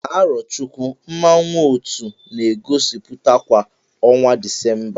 Na Arochukwu, mmanwụ otu na-egosiputa kwa ọnwa Disemba.